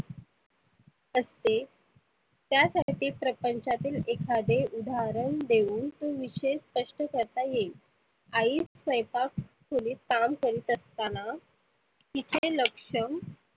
असते त्या साठी प्रपंचाचे एखादे उदाहरण देऊन तो विषय स्पष्ट करता येईल. आइ स्वयंपाक खोलीत काम करित असताना तीचे लक्ष